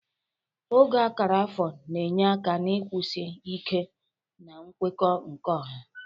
Ogo akara afọ na-enye aka na nkwụsi ike na nkwekọ nke ọha.